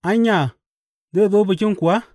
Anya, zai zo Bikin kuwa?